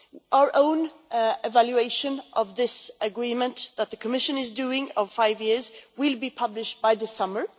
Our own evaluation of this Agreement, which the Commission is doing, of these five years will be published by the summer.